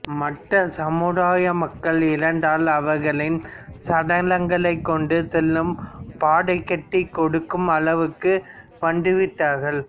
மற்ற சமுதாய மக்கள் இறந்தால் அவர்களின் சடலங்களைக் கொண்டு செல்லும் பாடை கட்டிக் கொடுக்கும் அளவுக்கு வந்துவிட்டார்கள்